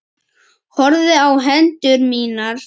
Horfði á hendur mínar.